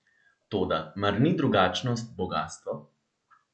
Toda mar ni drugačnost bogastvo?